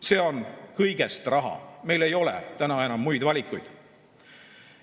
See on kõigest raha, meil ei ole täna enam muid valikuid.